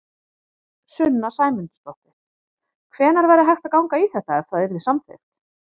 Sunna Sæmundsdóttir: Hvenær væri hægt að ganga í þetta, ef það yrði samþykkt?